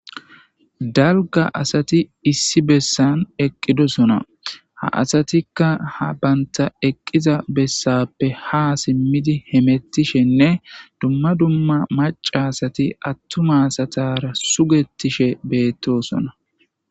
Dalga asati issi bessan eqqidosona ha asatikka ha banta eqqiza bessappe ha simmidi hemettishenne dumma dumma maca asati attuma asatara sugetishe beettosona.